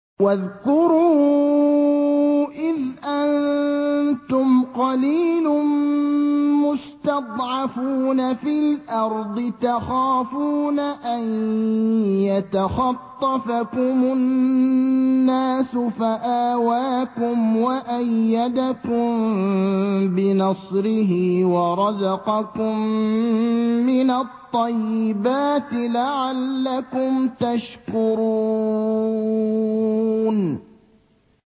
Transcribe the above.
وَاذْكُرُوا إِذْ أَنتُمْ قَلِيلٌ مُّسْتَضْعَفُونَ فِي الْأَرْضِ تَخَافُونَ أَن يَتَخَطَّفَكُمُ النَّاسُ فَآوَاكُمْ وَأَيَّدَكُم بِنَصْرِهِ وَرَزَقَكُم مِّنَ الطَّيِّبَاتِ لَعَلَّكُمْ تَشْكُرُونَ